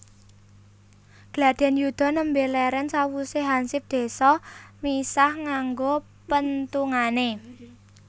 Gladhen yuda nembe leren sawuse hansip désa misah nganggo penthungane